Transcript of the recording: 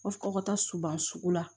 fɔ ka taa suban sugu la